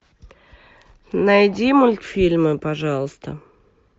найди мультфильмы пожалуйста